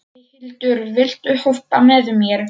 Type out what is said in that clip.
Eyhildur, viltu hoppa með mér?